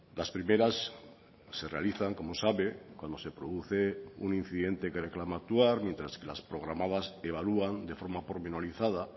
las primeras se realizan como sabe cuando se produce un incidente que reclama actuar mientras que las programadas evalúan de forma pormenorizada